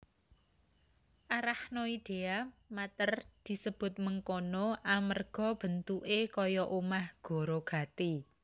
Arachnoidea mater disebut mengkono amerga bentuke kaya omah gorogati